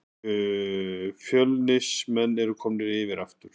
Fjölnismenn eru komnir yfir aftur